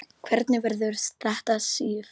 Hvernig verður þetta, Sif?